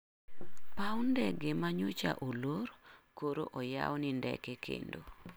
Paw ndege manyocha olor koro oyaw ni ndeke kendo